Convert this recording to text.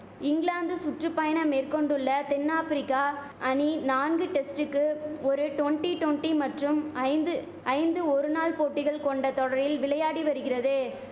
இங்கிலாந்து சுற்றுபயணம் மேற்கொண்டுள்ள தென் ஆப்ரிக்கா அணி நான்கு டெஸ்ட்டுக்கு ஒரு டொண்டி டொண்டி மற்றும் ஐந்து ஐந்து ஒரு நாள் போட்டிகள் கொண்ட தொடரில் விளையாடி வரிகிறது